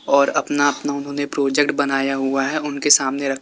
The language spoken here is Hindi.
और अपना अपना उन्होंने प्रोजेक्ट बनाया हुआ है उनके सामने रखा--